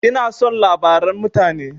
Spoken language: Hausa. Ina son labaran mutane.